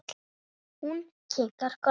Hún kinkar kolli.